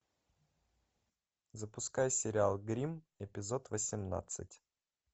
запускай сериал гримм эпизод восемнадцать